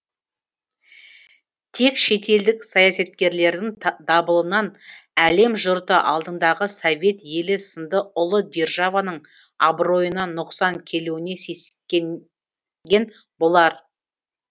тек шетелдік саясаткерлердің дабылынан әлем жұрты алдыңдағы совет елі сынды ұлы державаның абыройына нұқсан келуіне сескенген болар